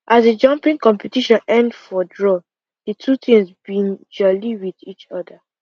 as the jumping competition end for draw the two teams been jolly with each other